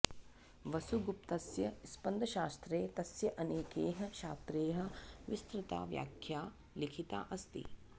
वसुगुप्तस्य स्पन्दशास्त्रे तस्य अनेकैः छात्रैः विस्तृता व्याख्या लिखिता अस्ति